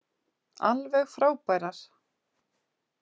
Alveg frábærar.